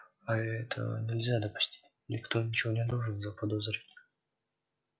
а этого нельзя допустить никто ничего не должен заподозрить